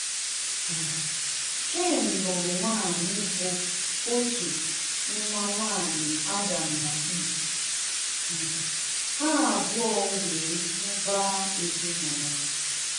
um Cain lụrụ nwaanyị bụ otu nwa nwaanyị Adam na Eve. um Ha abụọ wee mụbaa ezinụlọ.